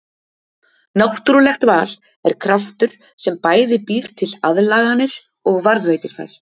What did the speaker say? Náttúrulegt val er kraftur sem bæði býr til aðlaganir og varðveitir þær.